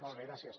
molt bé gràcies